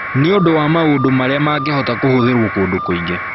Nĩ ũndũ wa maũndũ marĩa mangĩhota kũhũthĩrũo kũndũ kũingĩ.